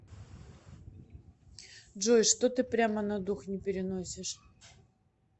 джой что ты прямо на дух не переносишь